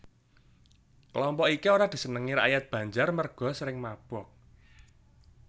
Kelompok iki ora disenengi rakyat Banjar merga sering mabok